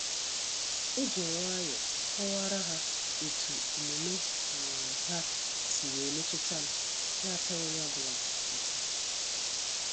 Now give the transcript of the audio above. Ejim nwayọọ kọwara ha etu omume um ha si wee metutam na ataghi onye ọ bụla uta.